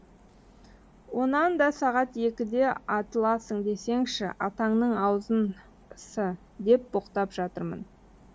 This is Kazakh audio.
онан да сағат екіде атыласың десеңші атаңның аузын с деп боқтап жатырмын